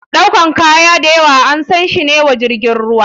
Ɗaukar kaya dayawa ansashi ne wa jirgin ruwa.